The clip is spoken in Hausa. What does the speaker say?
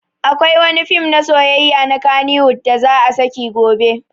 Akwai wani fim na soyayya na kannywood da za a saki gobe